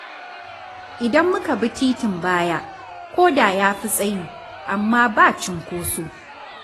Idan muka bi titin baya, ko da ya fi tsayi, amma ba cunkoso.